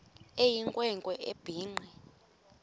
eyinkwe nkwe ebhinqe